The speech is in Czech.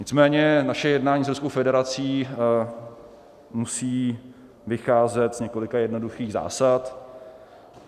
Nicméně naše jednání s Ruskou federací musí vycházet z několika jednoduchých zásad.